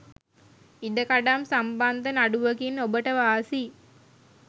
ඉඩකඩම් සම්බන්ධ නඩුවකින් ඔබට වාසි